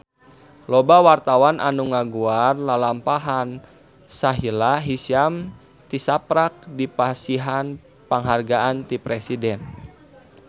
Loba wartawan anu ngaguar lalampahan Sahila Hisyam tisaprak dipasihan panghargaan ti Presiden